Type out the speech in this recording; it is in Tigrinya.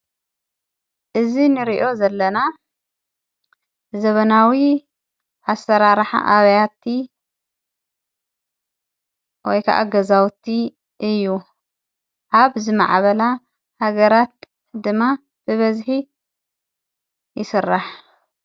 እዚ ንርእዮ ዘለና ዘመናዊ ኣሰራርሓ ኣብያቲ ወይ ከዓ ገዛውቲ እዩ ኣብ ዝመዕበላ ሃገራት ድማ ብበዝሒ ይስራሕ።